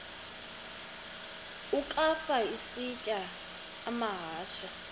ukafa isitya amahashe